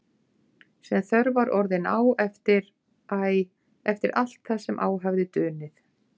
Sem þörf var orðin á eftir- æ, eftir allt það sem á hafði dunið.